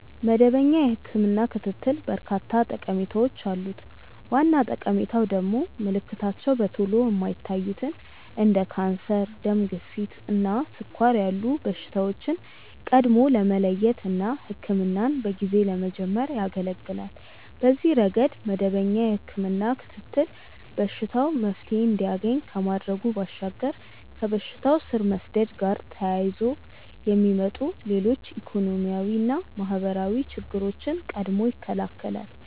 መደበኛ የህክምና ክትትል በርካታ ጠቀሜታዎች አሉት። ዋና ጠቀሜታው ደግሞ ምልክታቸው በቶሎ የማይታዩትን እንደ ካንሰር፣ ደም ግፊት እና ስኳር ያሉ በሽታዎችን ቀድሞ ለመለየት እና ህክምናን በጊዜ ለመጀመር ያገለገላል። በዚህ ረገድ መደበኛ የህክምና ክትትል በሽታው መፍትሔ እንዲያገኝ ከማድረጉ ባሻገር ከበሽታው ስር መስደድ ጋር ተያይዞ የሚመጡ ሌሎች ኢኮኖሚያዊና ማህበራዊ ችግሮችን ቀድሞ ይከለከላል።